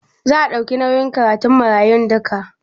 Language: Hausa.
Za a ɗauki nauyin karatun marayun duka?